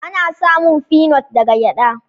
Ana samun finot daga gyada.